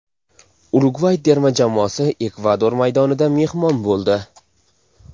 Urugvay terma jamoasi Ekvador maydonida mehmon bo‘ldi.